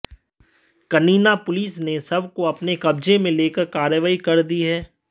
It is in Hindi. कनीना पुलिस ने शव को अपने कब्जे में लेकर कार्रवाई कर दी है